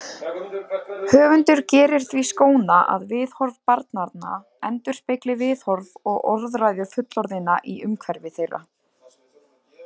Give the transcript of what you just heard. Höfundur gerir því skóna að viðhorf barnanna endurspegli viðhorf og orðræðu fullorðinna í umhverfi þeirra.